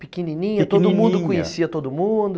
Pequenininha, pequenininha... todo mundo conhecia todo mundo?